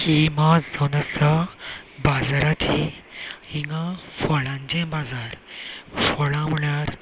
ही मार्ज जावन आसा बाजारांची हींगा फळांचे बाजार फळा म्हळ्यार --